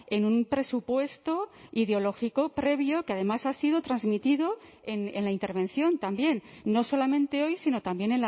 en un presupuesto ideológico previo que además ha sido transmitido en la intervención también no solamente hoy sino también